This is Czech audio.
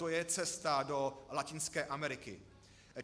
To je cesta do Latinské Ameriky.